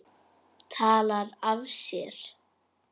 Talar af sér.